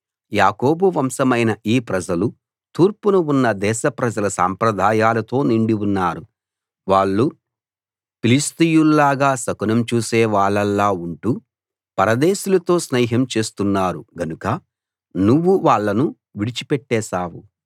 యాకోబు వంశమైన ఈ ప్రజలు తూర్పున ఉన్న దేశ ప్రజల సాంప్రదాయాలతో నిండి ఉన్నారు వాళ్ళు ఫిలిష్తీయుల్లాగా శకునం చూసే వాళ్ళలా ఉంటూ పరదేశులతో స్నేహం చేస్తున్నారు గనుక నువ్వు వాళ్ళను విడిచి పెట్టేశావు